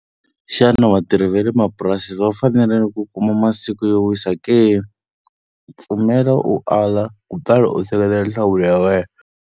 Xana vatirhi va le mapurasini va fanerile ku kuma masiku yo wisa ke? Pfumela u ala kutani u seketela nhlamulo ya wena.